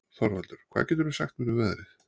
Þorvaldur, hvað geturðu sagt mér um veðrið?